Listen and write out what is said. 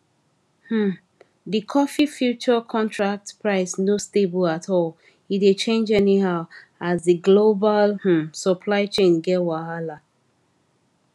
um di coffee future contract price no stable at all e dey change anyhow as di global um supply chain get wahala